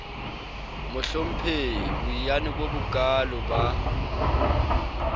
mohlomphehi boiyane bo bokaalo ba